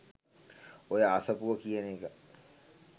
ඔය අසපුව කියන එක